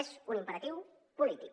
és un imperatiu polític